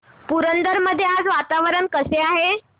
पुरंदर मध्ये आज वातावरण कसे आहे